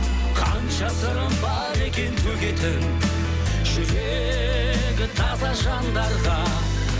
қанша сырым бар екен төгетін жүрегі таза жандарға